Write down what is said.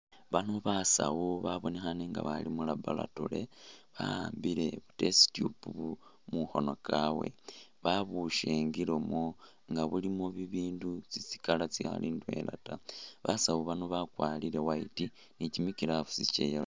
Bano basawu babonekhane nga bali mu laboratory bawambile test tube mumakhoono kawe babushingilemo nga bulimo bibindu tsitsi colour tsikhali indwela ta basawu bano bakwalire white ni kimi glooves kya..